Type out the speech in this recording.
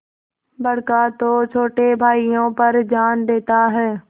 बड़का तो छोटे भाइयों पर जान देता हैं